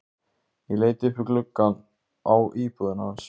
Ég leit upp í gluggana á íbúðinni hans.